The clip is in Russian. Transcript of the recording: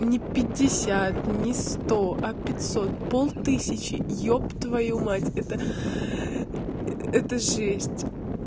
не пятьдесят не сто а пятьсот пол тысячи еб твою мать это это жесть